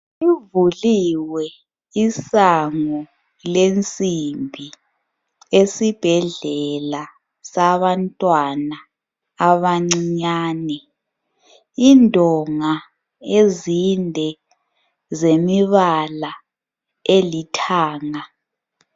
Livuliwe isango lensimbi esibhedlela sabantwana abancinyane. Indonga ezinde zemibala elithanga.